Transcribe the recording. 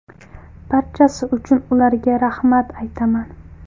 Barchasi uchun ularga rahmat aytaman.